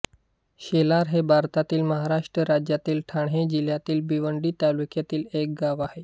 शेलार हे भारतातील महाराष्ट्र राज्यातील ठाणे जिल्ह्यातील भिवंडी तालुक्यातील एक गाव आहे